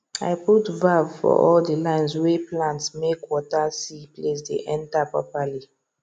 i put valve for all the lines wey plantmake water see place dey enter properly